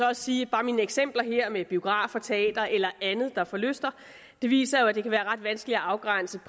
også sige at bare mine eksempler her med biografer teatre eller andet der forlyster viser at det kan være ret vanskeligt at afgrænse